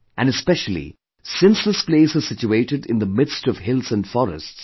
And especially, since this place is situated in the midst of hills and forests